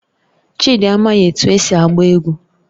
Chidi anaghị etu esi agba egwu